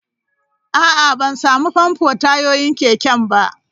A'a, ban sami famfo tayoyin keken ba.